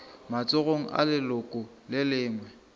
matsogong a leloko le lengwe